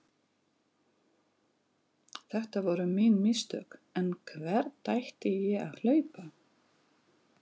Þetta voru mín mistök en hvert átti ég að hlaupa?